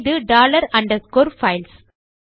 இது dollar underscore files